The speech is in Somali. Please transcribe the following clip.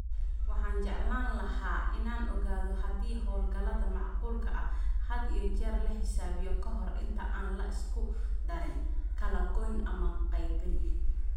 Waxaan jeclaan lahaa inaan ogaado haddii hawlgallada macquulka ah had iyo jeer la xisaabiyo ka hor inta aan la isku darin, kala goyn ama qaybin